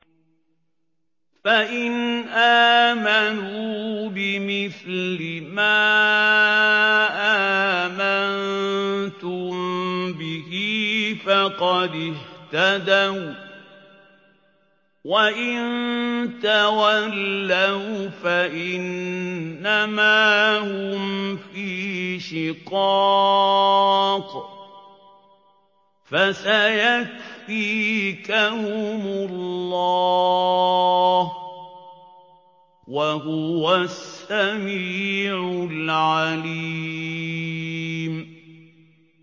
فَإِنْ آمَنُوا بِمِثْلِ مَا آمَنتُم بِهِ فَقَدِ اهْتَدَوا ۖ وَّإِن تَوَلَّوْا فَإِنَّمَا هُمْ فِي شِقَاقٍ ۖ فَسَيَكْفِيكَهُمُ اللَّهُ ۚ وَهُوَ السَّمِيعُ الْعَلِيمُ